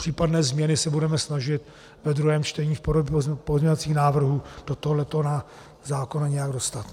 Případné změny se budeme snažit ve druhém čtení v podobě pozměňovacích návrhů do tohoto zákona nějak dostat.